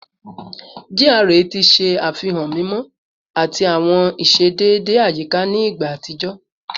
GRA ti ṣe afihan mimọ mimọ ati awọn iṣedede ayika ni igba atijọ